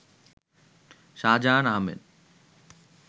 Shahjahan Ahmed